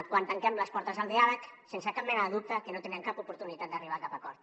quan tanquem les portes al diàleg sense cap mena de dubte que no tindrem cap oportunitat d’arribar a cap acord